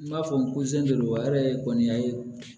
N b'a fɔ n ko seki do wa yɛrɛ kɔni a ye